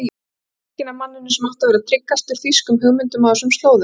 Svikinn af manninum sem átti að vera tryggastur þýskum hugmyndum á þessum slóðum.